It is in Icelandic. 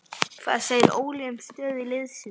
Hvað segir Óli um stöðu liðsins?